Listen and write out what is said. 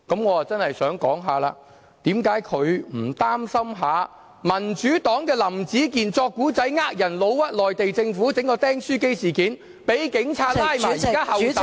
我真的想說，為何他不擔心民主黨林子健編故事欺騙人，誣衊內地政府，搞出"釘書機事件"，被警察拘捕，現在候審......